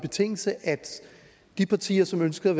betingelse at de partier som ønskede